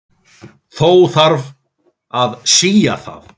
Þó þarf að sía það.